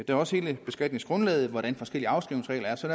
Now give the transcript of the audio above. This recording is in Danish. er også hele beskatningsgrundlaget hvordan de forskellige afskrivningsregler er så